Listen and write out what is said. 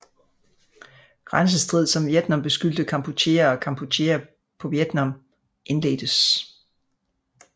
Grænsestrid som Vietnam beskyldte Kampuchea og Kampuchea på Vietnam indledtes